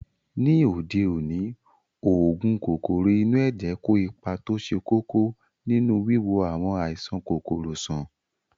Ní òde òní, oògùn kòkòrò inú ẹ̀jẹ̀ kó ipa tó ṣe kókó nínú wíwo àwọn àìsàn kòkòrò sàn